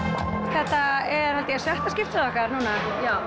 þetta er held ég sjötta skiptið okkar núna